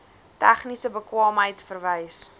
tegniese bekwaamheid verwys